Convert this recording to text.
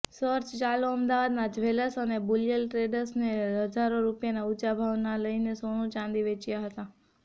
search ચાલુઅમદાવાદના jewellers અને bullion ટ્રેડર્સે હજારો રૂપિયાના ઊંચા ભાવ લઇને સોનું ચાંદી વેચ્યા હતા